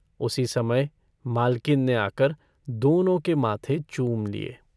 उसी समय मालकिन ने आकर दोनों के माथे चूम लिये।